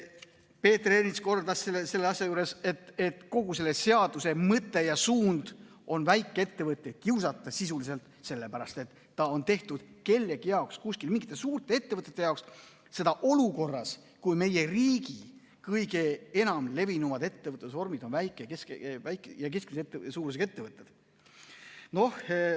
Peeter Ernits kordas, et kogu selle seaduse mõte ja suund on sisuliselt väikeettevõtteid kiusata, sellepärast et ta on tehtud kuskil kellegi jaoks, mingite suurte ettevõtete jaoks, seda olukorras, kus meie riigi kõige levinumad ettevõtlusvormid on väikese ja keskmise suurusega ettevõtted.